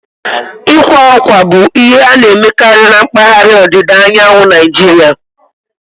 Ịkwa akwa bụ ihe a na-emekarị na mpaghara ọdịda anyanwụ Naijiria